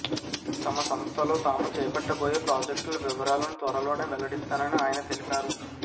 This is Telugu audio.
తమ సంస్థలో తాము చేపట్టబోయే ప్రాజెక్టుల వివరాలను త్వరలోనే వెల్లడిస్తానని ఆయన తెలిపారు